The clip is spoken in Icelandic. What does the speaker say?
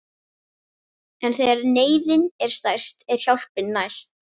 En þegar neyðin er stærst er hjálpin næst.